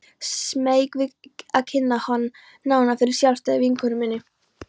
Smeyk við að kynna hann nánar fyrir sjálfstæðri vinkonu minni.